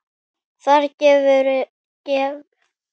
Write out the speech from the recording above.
Þar gefur að líta